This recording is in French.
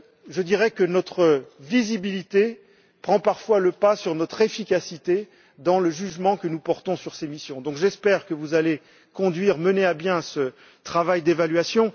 Je dirai que notre visibilité prend parfois le pas sur notre efficacité dans le jugement que nous portons sur ces missions. Par conséquent, j'espère que vous allez mener à bien ce travail d'évaluation.